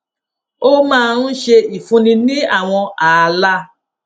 ó máa ń ṣe ìfúnni ní àwọn ààla